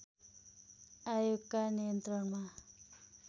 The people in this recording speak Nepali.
आयोगका नियन्त्रणमा